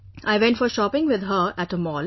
I went for shopping with her at a mall